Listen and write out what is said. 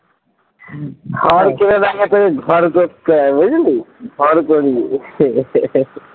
থার কিনে দেখাতে হলে ধার করতে হবে বুঝলি